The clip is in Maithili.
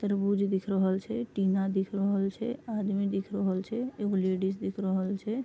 तरबूज दिख रहल छै टीना दिख रहल छै आदमी दिख रहल छै एगो लेडीज़ दिख रहल छै।